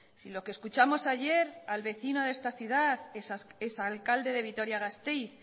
si lo que escuchamos ayer al vecino de esta ciudad exalcalde de vitoria gasteiz